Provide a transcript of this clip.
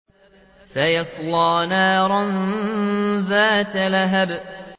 سَيَصْلَىٰ نَارًا ذَاتَ لَهَبٍ